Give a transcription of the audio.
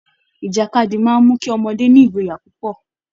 Ìjàkadì máa ń mú kí ọmọdé ní ìgboyà púpọ̀